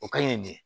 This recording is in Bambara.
O ka ɲi de